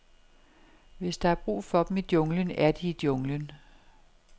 Hvis der er brug for dem i junglen, er de i junglen.